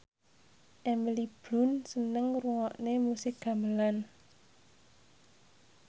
Emily Blunt seneng ngrungokne musik gamelan